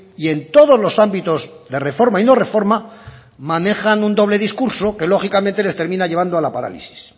y en todos los ámbitos de reforma y no reforma manejan un doble discurso que lógicamente les termina llevando a la parálisis